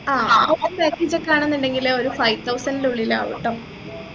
ആഹ് packages ഒക്കെ വേണമെന്നുണ്ടെങ്കിൽ ഒരു five thousand ഉള്ളിൽ ആവുംട്ടോ